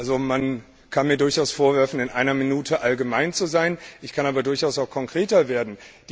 Also man kann mir durchaus vorwerfen, in einer Minute allgemein zu sein, ich kann aber durchaus auch konkreter werden.